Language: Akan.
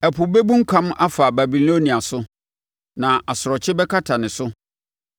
Ɛpo bɛbunkam afa Babilonia so; na nʼasorɔkye bɛkata ne so.